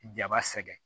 Jaba sɛgɛn